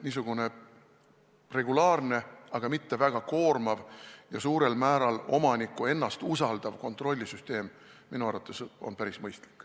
Niisugune regulaarne, aga mitte väga koormav ja suurel määral omanikku ennast usaldav kontroll on minu arvates päris mõistlik.